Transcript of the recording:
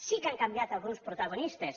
sí que han canviat alguns protagonistes